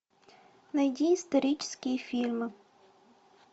найди исторические фильмы